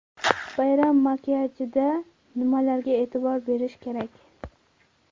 Bayram makiyajida nimalarga e’tibor berish kerak?.